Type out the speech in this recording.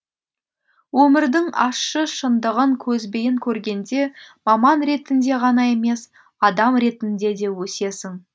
өмірдің ащы шындығын көзбен көргенде маман ретінде ғана емес адам ретінде де өсесің